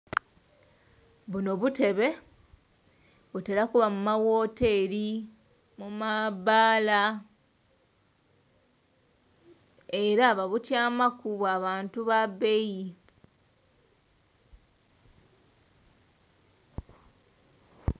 Buno butebe, butera kuba mu ma woteri, mu ma baala, era babutyamaku bwa bantu ba beeyi.